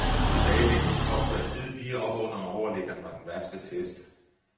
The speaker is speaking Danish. En tilbagelægning kort før tid lige oppe under overliggeren var den værste test.